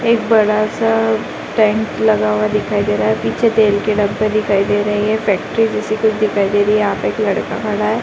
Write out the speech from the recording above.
एक बड़ा-सा टेंट लगा हुआ दिखाई दे रहा है। पीछे तेल के डब्बे दिखाई दे रहे हैं। ये फैक्ट्री जैसी कुछ दिखाई दे रही है। यहाँ पे एक लड़का खड़ा है।